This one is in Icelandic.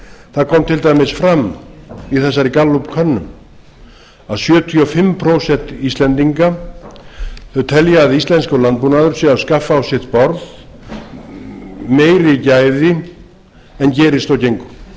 það kom til dæmis fram í þessari gallup könnun að sjötíu og fimm prósent íslendinga telja að íslenskur landbúnaður sé að skaffa á sitt borð meiri gæði en gerist og